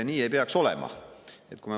Nii ei peaks olema.